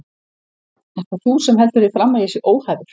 Ert það þú sem heldur því fram að ég sé óhæfur?